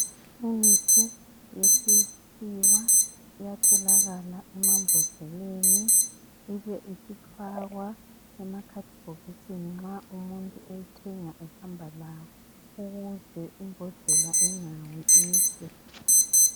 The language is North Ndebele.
Imithi yesikhiwa iyatholakala emambodleleni ibe isifakwa ekhathibhokisini nxa umuntu eyithenga ehamba lawo ukuze imbodlela ingawi ife.